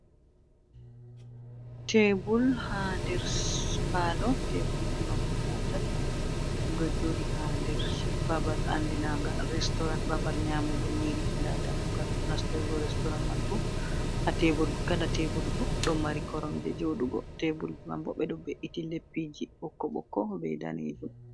Teebul, ha nder paaloo, teebulji man guda tati, ɗum ɗo jooɗii ha nder babal andiragal be restoran, babal nyamugo nyiiri da damugal nastugo restoran man boo ha kala teebul boo don mari koromje jodugo tebulji man boo ɓe ɗoo be’iti leppiji ɓokko ɓokko bei daneejuum.